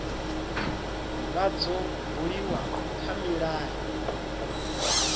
vha dzo buliwa kha milayo